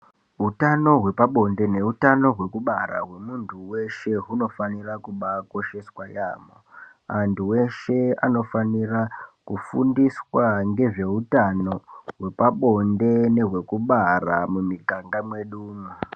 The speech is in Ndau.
Hutano hwepabonde nehutano hwekubara hwemuntu weshe unofanira kubakosheswa yambo antu eshe anofanira kufundiswa zvehutano hwepabonde hwekubara mumiganga medumo.